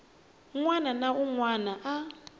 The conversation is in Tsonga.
wana na wun wana a